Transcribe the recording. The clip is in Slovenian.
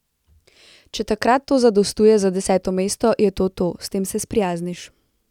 Če takrat to zadostuje za deseto mesto, je to to, s tem se sprijazniš.